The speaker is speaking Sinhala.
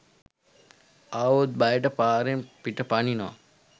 ආවොත් බයට පාරෙන් පිට පනිනවා